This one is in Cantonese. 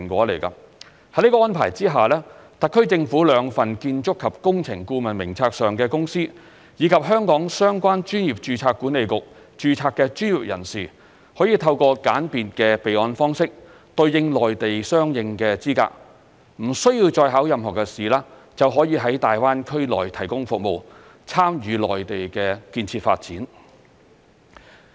在這安排下，特區政府兩份建築及工程顧問名冊上的公司，以及在香港相關專業註冊管理局註冊的專業人士，可以透過簡便的備案方式，對應內地相應的資格，不需要再應考任何考試，就可以在粵港澳大灣區內提供服務，參與內地的建設發展。